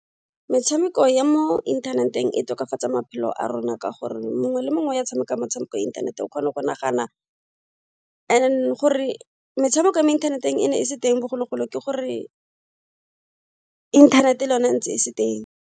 Metshameko ya mo inthaneteng e tokafatsa maphelo a rona ka gore mongwe le mongwe ya tshameka metshameko ya inthanete o kgona go nagana and gore metshameko ya mo inthaneteng e ne e se teng bogologolo ke gore inthanete le yone e ntse e se teng.